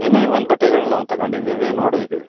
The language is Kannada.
ಏನೆ ಒಂದು ಬಟ್ಟೆಗಳು ನಾವ್ ತಕಂಡಿದ್ದಿವಿ ನಾವ್ ನೋಡಿದ್ದೀವಿ.